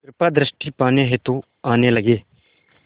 कृपा दृष्टि पाने हेतु आने लगे